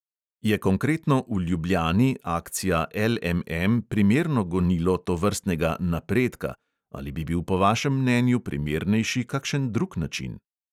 Je konkretno v ljubljani akcija LMM primerno gonilo tovrstnega "napredka" ali bi bil po vašem mnenju primernejši kakšen drug način?